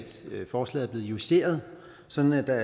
forslaget er blevet justeret sådan at der